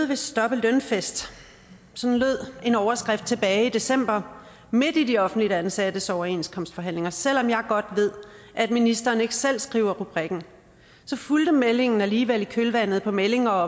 vil stoppe lønfest sådan lød en overskrift tilbage i december midt i de offentligt ansattes overenskomstforhandlinger selv om jeg godt ved at ministeren ikke selv skriver rubrikken så fulgte meldingen alligevel i kølvandet på meldinger